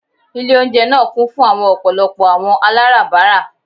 Ile ounjẹ naa kun fun ọpọlọpọ awọn alabara